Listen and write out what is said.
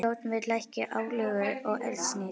Stjórnvöld lækki álögur á eldsneyti